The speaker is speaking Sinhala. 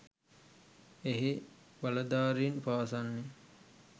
එහි බලධාරීන් පවසන්නේ